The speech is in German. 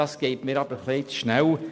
Das geht mir jedoch etwas zu schnell.